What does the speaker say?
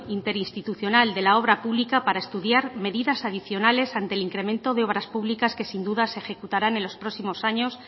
interinstitucional de la obra pública para estudiar medidas adicionales ante el incremento de obras públicas que sin duda se ejecutaran en los próximos años